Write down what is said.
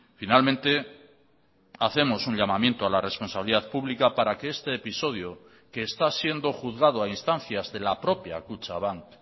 finalmente hacemos un llamamiento a la responsabilidad pública para que este episodio que está siendo juzgado a instancias de la propia kutxabank